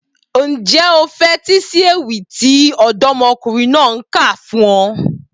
Ǹjẹ́ o fetí sí ewì tí ọ̀dọ́mọkùnrin náà kà fún ọ?